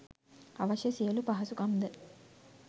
අවශ්‍ය සියලූ පහසුකම් ද